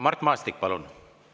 Mart Maastik, palun!